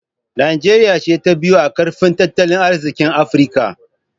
Najeriya ce ta biyu a ƙarfin tattalin arziƙi a Afirka.